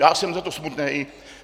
Já jsem za to smutný.